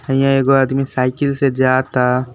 हईयां एगो आदमी साइकिल से जा ता।